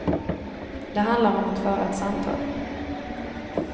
Det handlar om att föra ett samtal.